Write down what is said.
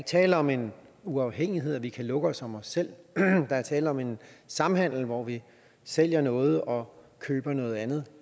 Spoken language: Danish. tale om en uafhængighed og at vi kan lukke os om os selv der er tale om en samhandel hvor vi sælger noget og køber noget andet